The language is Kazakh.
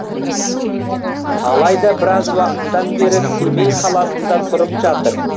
алайда біраз уақыттан бері семей қаласында тұрып жатыр